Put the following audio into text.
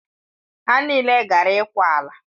Ha niile gara ịkwa ala.